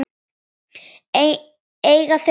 Eiga þau tvo syni.